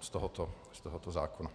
z tohoto zákona.